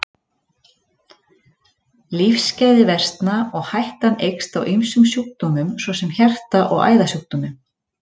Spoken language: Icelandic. Lífsgæði versna og hættan eykst á ýmsum sjúkdómum svo sem hjarta- og æðasjúkdómum.